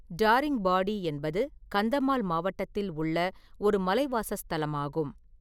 தாரிங்பாடி என்பது கந்தமால் மாவட்டத்தில் உள்ள ஒரு மலைவாசஸ்தலமாகும்.